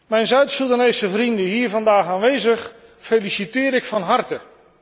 Mijn Zuid Soedanese vrienden hier vandaag aanwezig feliciteer ik van harte.